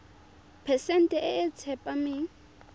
phesente e e tsepameng